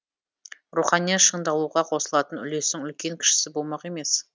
рухани шыңдалуға қосылатын үлестің үлкен кішісі болмақ емес